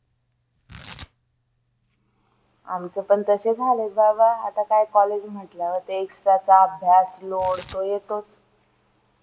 आमचे पण तसेच हाल होत बाबा आता काय college म्हटल्यावर तेच त्याचा अभ्यास load तो येतोच